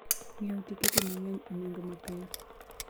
Ng'iewo tiketi mang'eny e nengo ma piny.